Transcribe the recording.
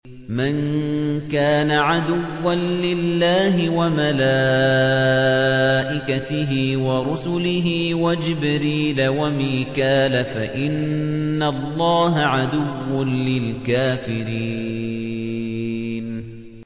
مَن كَانَ عَدُوًّا لِّلَّهِ وَمَلَائِكَتِهِ وَرُسُلِهِ وَجِبْرِيلَ وَمِيكَالَ فَإِنَّ اللَّهَ عَدُوٌّ لِّلْكَافِرِينَ